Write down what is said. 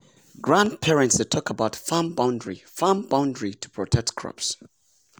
grandparents dey talk about farm boundary farm boundary to protect crops.